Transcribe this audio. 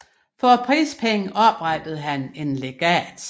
For prispengene oprettede han et legat